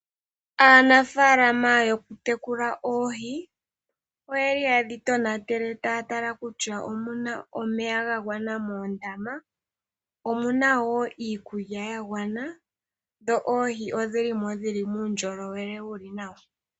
Aanafaalama yokutekula oohi oye li haye dho tonatele taya tala kutya omuna omeya gagwana moondama. Omuna wo iikulya yagwana, dho odhili mo dhina uundjolowele wuli nawa.